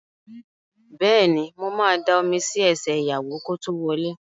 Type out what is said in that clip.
Bẹ́ẹ̀ni, mo ma da omi sí ẹsẹ̀ ìyàwó kí ó tó wọlé